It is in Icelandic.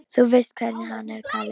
Þú veist hvernig hann er, Kalli minn.